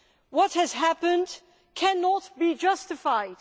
What has happened cannot be justified.